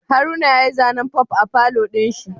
Haruna yayi zanen Pop a palour dinshi